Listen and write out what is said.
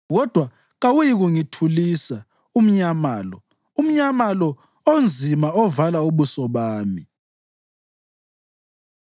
Kodwa kawuyikungithulisa umnyama lo, umnyama lo onzima ovala ubuso bami.”